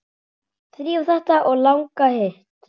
Þrífa þetta og laga hitt.